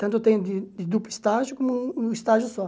Tanto tem de de duplo estágio como um um estágio só.